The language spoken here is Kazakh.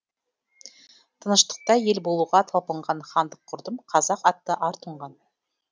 тыныштықта ел болуға талпынған хандық құрдым қазақ атты ар тұнған